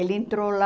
Ele entrou lá...